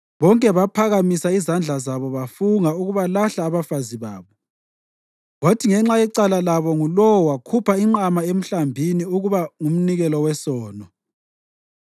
(Bonke baphakamisa izandla zabo bafunga ukubalahla abafazi babo, kwathi ngenxa yecala labo ngulowo wakhupha inqama emhlambini ukuba ngumnikelo wesono.)